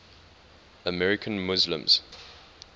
american muslims